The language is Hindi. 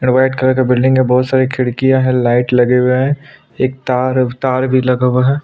रेड कलर का बिल्डिंग हैं बहुत सारी खिड़कियां है लाइट